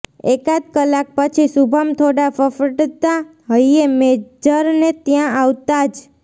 એકાદ કલાક પછી શુભમ થોડા ફફડતા હૈયે મેજરને ત્યાં આવતાં જ